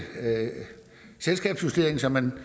selskabsjustering så man